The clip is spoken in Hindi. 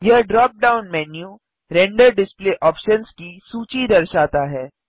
यह drop down menu render display options की सूची दर्शाता है